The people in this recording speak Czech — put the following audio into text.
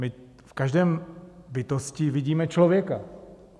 My v každé bytosti vidíme člověka.